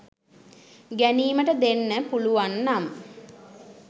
ගැනීමට දෙන්න පුලුවන්නම්